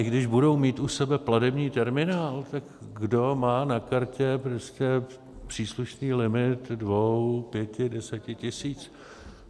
I když budou mít u sebe platební terminál, tak kdo má na kartě prostě příslušný limit dvou, pěti, deseti tisíc?